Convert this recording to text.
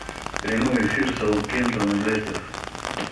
прямой эфир саутгемптон и лестер